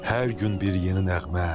Hər gün bir yeni nəğmə.